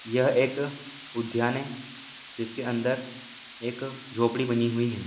यह एक उधान है जिसके अंदर एक झोपडी बनी हुई है।